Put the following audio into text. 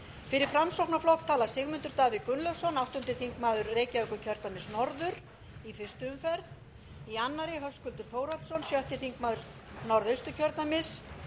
fyrir framsóknarflokk tala sigmundur davíð gunnlaugsson áttundi þingmaður reykjavíkurkjördæmis norður í fyrstu umferð í annarri höskuldur þórhallsson sjötti þingmaður norðausturkjördæmis